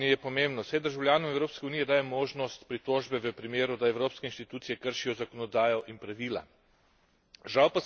Delo varuhinje je pomembno, saj državljanom Evropske unije daje možnost pritožbe v primeru, da evropske inštitucije kršijo zakonodajo in pravila.